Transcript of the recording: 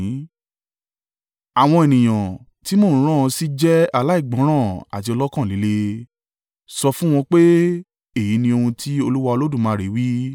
Àwọn ènìyàn tí mo ń rán ọ sí jẹ́ aláìgbọ́ràn àti ọlọ́kàn líle. Sọ fún wọn pé, ‘Èyí ni ohun tí Olúwa Olódùmarè wí.’